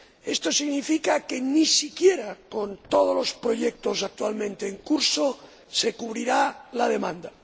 Esto significa que ni siquiera con todos los proyectos actualmente en curso se cubrirá la demanda.